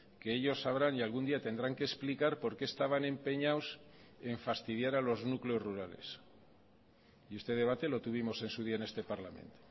que ellos sabrán y algún día tendrán que explicar por qué estaban empeñados en fastidiar a los núcleos rurales y este debate lo tuvimos en su día en este parlamento